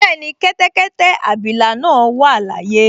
Bẹ́ẹ̀ni, kẹ́tẹ́kẹ́tẹ́ abilà náà wà láyé